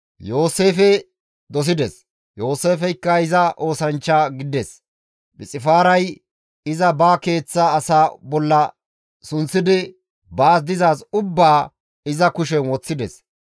Yooseefe dosides. Yooseefeykka iza oosanchcha gidides. Phixifaaray iza ba keeththa asaa bolla sunththidi baas dizaaz ubbaa iza kushen woththides.